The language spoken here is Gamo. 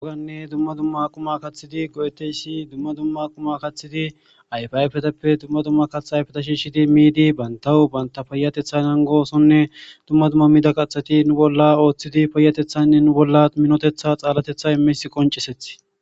oganne dumma dumma aquma kaththidi go7eteyssi dumma dumma aquma kathidi ayfaayfeteppe dumma dumma kath ayfeta shiishidi miidi bayntahu baynta fayatethanan goosonne dumma dumma mida qaheti nu bolla ooththidi payatethanne nu bolla minotetha xaalatetha imis qoncisethi